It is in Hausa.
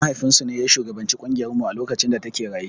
Mahaifin su ne ya shugabanci ƙungiyar mu a lokacin da ta ke raye.